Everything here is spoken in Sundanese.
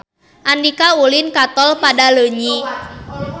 Andika ulin ka Tol Padaleunyi